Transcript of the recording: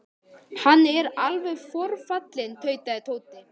Hann er alveg forfallinn tautaði Tóti.